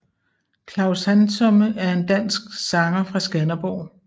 Klaus Handsome er en dansk sanger fra Skanderborg